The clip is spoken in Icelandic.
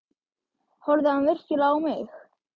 Horfði hann virkilega á mig?